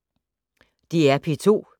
DR P2